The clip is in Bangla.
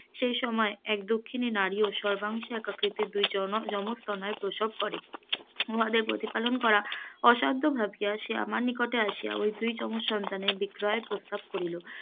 সেই সময়ে এক দুঃখিনী নারী ও সর্বাংশে দুই জনক যময তনয় প্রসব করে, উহাদের প্রতিপালন করা অসাধ্য ভাবিয়া সে আমার নিকট আসিয়া তার দুই যময সন্তানের বিক্রয়ের প্রস্তাব করিল,